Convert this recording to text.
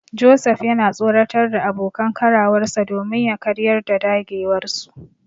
Joseph yana tsoratar da abokan karawarsa domin ya karyar da dagewarsu.